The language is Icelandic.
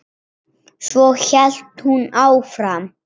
Svo hélt hún áfram